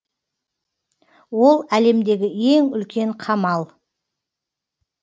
ол әлемдегі ең үлкен қамал